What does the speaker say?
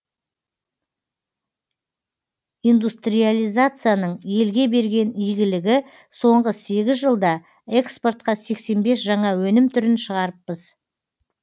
индустриализацияның елге берген игілігі соңғы сегіз жылда экспортқа сексен бес жаңа өнім түрін шығарыппыз